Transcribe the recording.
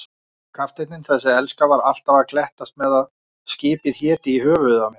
Kafteinninn, þessi elska, var alltaf að glettast með að skipið héti í höfuðið á mér.